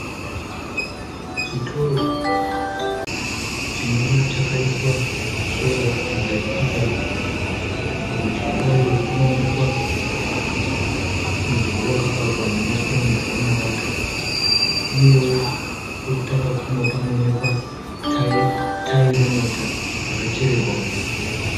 Chitoro chinova chakaiiswa sora pamberi payo. Kurudyi kwayo kunoonekwa mudhuri wakavakwa nemapuranga nemarata uyewo kwekutanga kuno kunowoneka tayi remota rakachererwa muvhu.